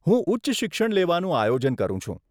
હું ઉચ્ચ શિક્ષણ લેવાનું આયોજન કરું છું.